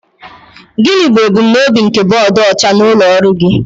Gịnị bụ ebumnobi nke bọọdụ ọcha n'ụlọ ọrụ gị?